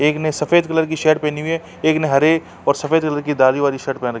एक ने सफ़ेद कलर की शर्ट पहनी हुई है। एक ने हरे और सफ़ेद कलर की वाली शर्ट पहन रखी--